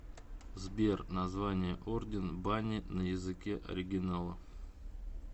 сбер название орден бани на языке оригинала